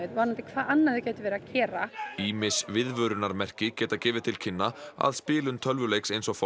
um hvað annað þau gætu verið að gera ýmis viðvörunarmerki geta gefið til kynna að spilun tölvuleiks eins og